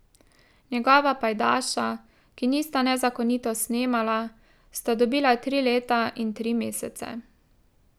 Njegova pajdaša, ki nista nezakonito snemala, sta dobila tri leta in tri mesece.